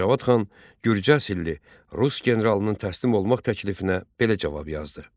Cavad xan gürcə asilli Rus generalının təslim olmaq təklifinə belə cavab yazdı: